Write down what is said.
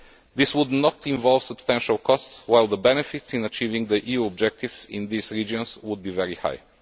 This would not involve substantial costs, whereas the benefits of achieving the EU's objectives in these regions would be very high.